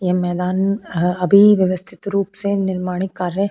यह मैदान अभी व्यवस्थित रूप से निर्माणी कार्य --